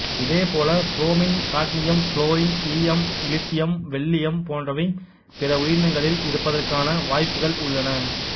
இதே போல bromine cadmium fluorine ஈயம் இலித்தியம் வெள்ளீயம் போன்றவை பிற உயிரினங்களில் இருப்பதற்கான வாய்ப்புகள் உள்ளன